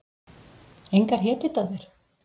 Engar hetjudáðir?